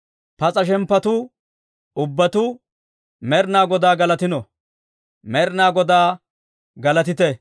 Pas'a shemppatuu ubbatuu, Med'inaa Godaa galatino! Med'inaa Godaa galatite!